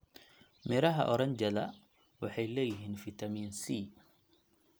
Midhaha oranjada waxay leeyihiin fiitamiin C.